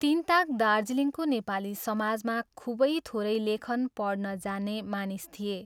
तिनताक दार्जीलिङको नेपाली समाजमा खूबै थोरै लेखन पढ्न जाने मानिस थिए।